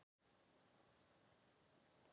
Þessi lög hafa takmarkað hagnýtt gildi.